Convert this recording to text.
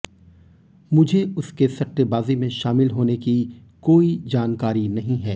मुझे उसके सट्टेबाजी में शामिल होने की कोई जानकारी नहीं है